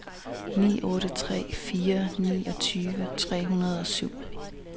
ni otte tre fire niogtyve tre hundrede og syv